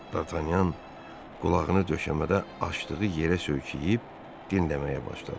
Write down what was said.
Dartanyan qulağını döşəmədə açdığı yerə söykəyib dinləməyə başladı.